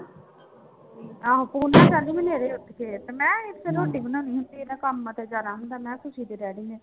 ਆਹੋ ਪੂਨਾ ਕਹਿੰਦੀ ਮੈਂ ਤੇ ਰੋਟੀ ਬਣਾਉਣੀ ਹੁੰਦੀ ਹੈ ਇਹਨਾਂ ਕੰਮਾਂ ਤੇ ਜਾਣਾ ਹੁੰਦਾ ਮੈਂ ਕਿਹਾ ਤੁਸੀਂ ਤੇ